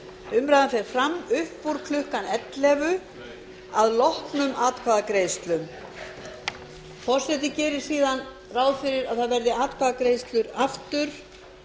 umræðan fer fram upp úr klukkan ellefu að loknum atkvæðagreiðslum forseti gerir síðan ráð fyrir að það verði atkvæðagreiðslur aftur